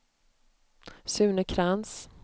Sune Krantz